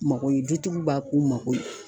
Mako ye dutigiw b'a k'u mako ye.